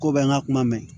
Ko bɛ n ka kuma mɛn